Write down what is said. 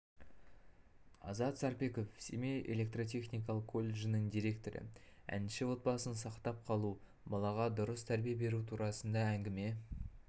азат сарпеков семей электротехникалық колледжінің директоры әнші отбасын сақтап қалу балаға дұрыс тәрбие беру турасында әңгіме